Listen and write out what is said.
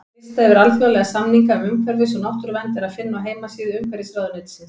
Lista yfir alþjóðlega samninga um umhverfis- og náttúruvernd er að finna á heimasíðu Umhverfisráðuneytisins.